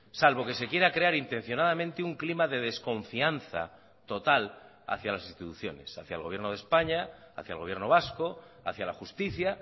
salvo que se quiera crear intencionadamente un clima de desconfianza total hacia las instituciones hacia el gobierno de españa hacia el gobierno vasco hacia la justicia